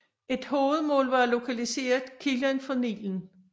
Et hovedmål var at lokalisere kilden for Nilen